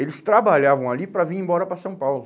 Eles trabalhavam ali para vir embora para São Paulo.